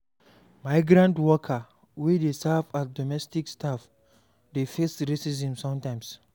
Migrant worker wey dey serve as domestic staff dey face racism sometimes